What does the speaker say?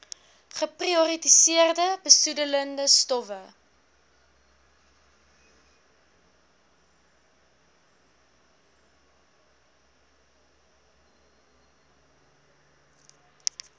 geprioritoriseerde besoedelende stowwe